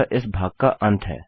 यह इस भाग का अंत है